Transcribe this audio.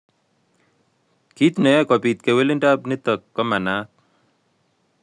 Kiit neyoe kobit kewelindo nitok komanaat